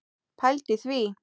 Pældu í því!